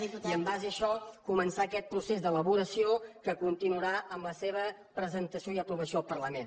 i en base a això començar aquest procés d’elaboració que continuarà amb la seva presentació i aprovació al parlament